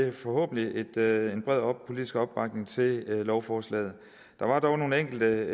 en forhåbentlig bred politisk opbakning til lovforslaget der var dog nogle enkelte